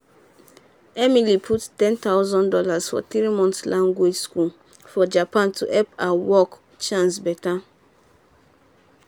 emily um put ten thousand dollars for three-month language school for japan to help her work chance better.